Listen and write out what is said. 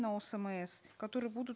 на осмс которые будут